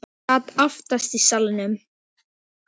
Ég sat aftast í salnum.